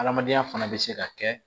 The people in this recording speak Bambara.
Adamadenya fana bɛ se ka kɛ